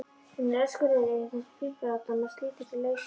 Hún er öskureið yfir þessum fíflalátum og slítur sig lausa.